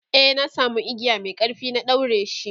e na samu igiya Mai ƙarfi na daureshi